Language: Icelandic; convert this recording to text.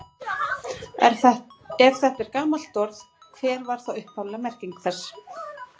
Ef þetta er gamalt orð, hver var þá upphafleg merking þess?